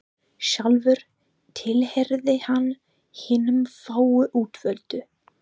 Sjálfur tilheyrði hann hinum fáu útvöldu.